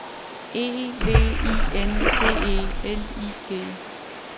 E V I N D E L I G